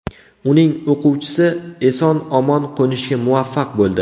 Uning o‘quvchisi eson-omon qo‘nishga muvaffaq bo‘ldi.